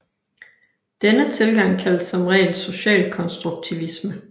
Denne tilgang kaldes som regel socialkonstruktivisme